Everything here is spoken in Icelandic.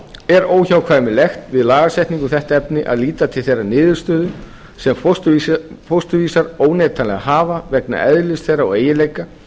er óhjákvæmilegt við lagasetningu um þetta efni að líta til þeirrar niðurstöðu sem fósturvísar óneitanlega hafa vegna eðlis þeirra og eiginleika